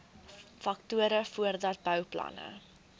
faktore voordat bouplanne